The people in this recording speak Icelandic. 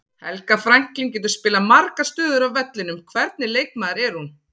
Helga Franklín getur spilað margar stöður á vellinum, hvernig leikmaður er hún?